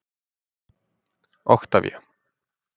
Oktavía